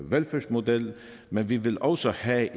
velfærdsmodel men vi vil også have